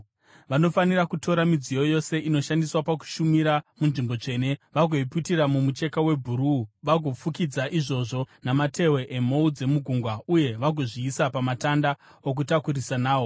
“Vanofanira kutora midziyo yose inoshandiswa pakushumira munzvimbo tsvene, vagoiputira mumucheka webhuruu, vagofukidza izvozvo namatehwe emhou dzegungwa uye vagozviisa pamatanda okutakurisa nawo.